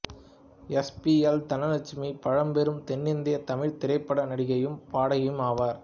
S P L Dhanalakshmi பழம்பெரும் தென்னிந்தியத் தமிழ்த் திரைப்பட நடிகையும் பாடகியும் ஆவார்